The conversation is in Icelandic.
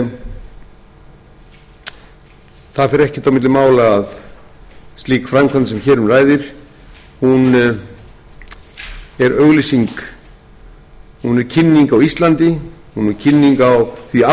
en það fer ekkert á milli mála að slík framkvæmd sem hér um ræðir er auglýsing hún er kynning á íslandi hún er kynning á því afli sem býr í iðrum